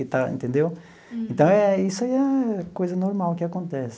Então entendeu então, isso aí é coisa normal que acontece.